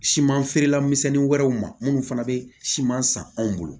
Siman feerela misɛnnin wɛrɛw ma minnu fana bɛ siman san anw bolo